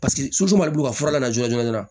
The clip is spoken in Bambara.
Paseke su ma deli k'u fura lajɔ